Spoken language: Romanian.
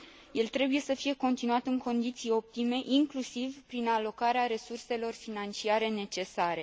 El trebuie să fie continuat în condiții optime, inclusiv prin alocarea resurselor financiare necesare.